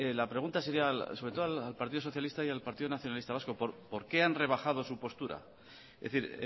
la pregunta sería sobre todo al partido socialista y al partido nacionalista vasco por qué han rebajado su postura es decir